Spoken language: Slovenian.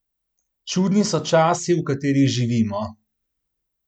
Čudni so časi, v katerih živimo.